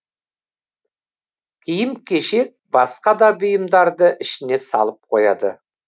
киім кешек басқа да бұйымдарды ішіне салып қояды